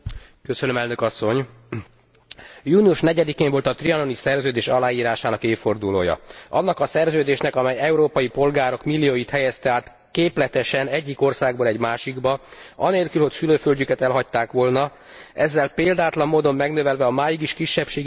Június 4 én volt a trianoni szerződés aláírásának évfordulója. Annak a szerződésnek, amely európai polgárok millióit helyezte át képletesen egyik országból egy másikba anélkül, hogy szülőföldjüket elhagyták volna, ezzel példátlan módon megnövelve a máig is kisebbségi státuszban élő EU polgárok számát.